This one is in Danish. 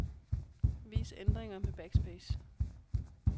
Vis ændringer med backspace.